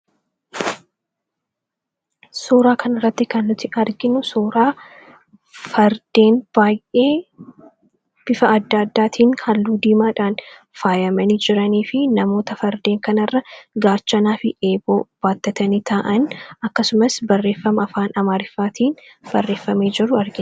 Suuraa kana irratti kan nuti arginu suuraa Fardeen baay'ee bifa adda addaatiin halluu diimaadhaan faayamanii jiraniifi namoota Fardeen kanarra Gaachanaafi eeboo baattatanii taa’an akkasumas barreeffama afaan Amaariffaatiin barreeffamee jiru argina.